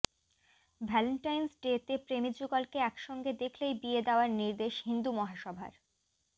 Valentine's ডেতে প্রেমীযুগলকে একসঙ্গে দেখলেই বিয়ে দেওয়ার নির্দেশ হিন্দু মহাসভার